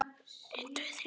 Koss og knús.